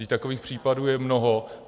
Vždyť takových případů je mnoho.